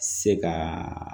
Se ka